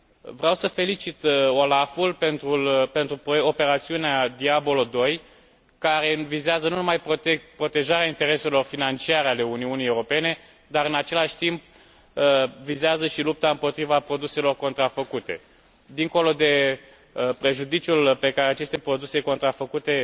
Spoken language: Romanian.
Vreau să felicit OLAF ul pentru operațiunea Diablo II, care vizează nu numai protejarea intereselor financiare ale Uniunii Europene dar, în același timp, vizează și lupta împotriva produselor contrafăcute. Dincolo de prejudiciul pe care aceste produse contrafăcute